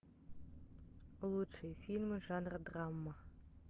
лучшие фильмы жанра драма